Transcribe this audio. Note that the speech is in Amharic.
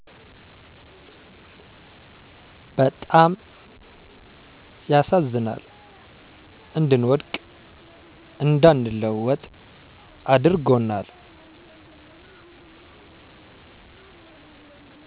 በጣም ያሳዝናል እንድንወድቅ እንዳንለወጥ አድርጎናል።